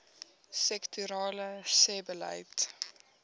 sektorale sebbeleid